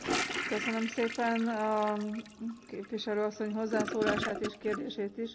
Köszönöm szépen a képviselő asszony hozzászólását és kérdését is.